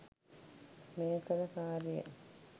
මේ කළ කාර්යයෙන්